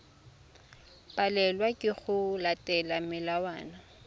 palelwa ke go latela melawana